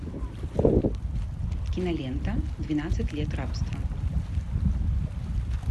кинолента двенадцать лет рабства